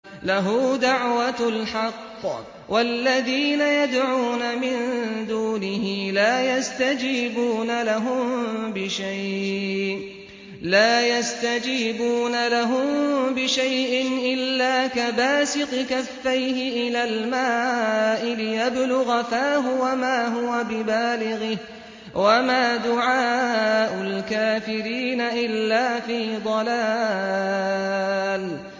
لَهُ دَعْوَةُ الْحَقِّ ۖ وَالَّذِينَ يَدْعُونَ مِن دُونِهِ لَا يَسْتَجِيبُونَ لَهُم بِشَيْءٍ إِلَّا كَبَاسِطِ كَفَّيْهِ إِلَى الْمَاءِ لِيَبْلُغَ فَاهُ وَمَا هُوَ بِبَالِغِهِ ۚ وَمَا دُعَاءُ الْكَافِرِينَ إِلَّا فِي ضَلَالٍ